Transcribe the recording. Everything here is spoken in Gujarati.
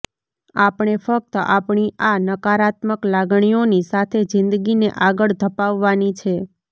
આપણે ફક્ત આપણી આ નકારાત્મક લાગણીઓની સાથે જિંદગીને આગળ ધપાવવાની છે